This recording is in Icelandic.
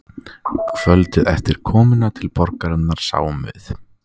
Kvöldið eftir komuna til borgarinnar sáum við